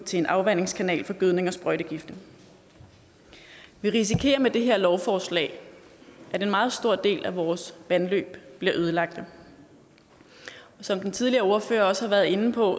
til en afvandingskanaler for gødning og sprøjtegifte vi risikerer med det her lovforslag at en meget stor del af vores vandløb bliver ødelagt og som den tidligere ordfører også har været inde på